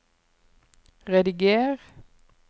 rediger